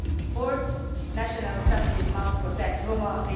Fourth, national strategies must protect Roma